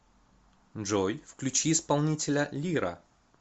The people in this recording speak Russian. джой включи исполнителя лира